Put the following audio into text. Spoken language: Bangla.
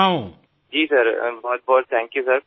হ্যাঁ স্যার আপনাকে অনেক অনেক ধন্যবাদ স্যার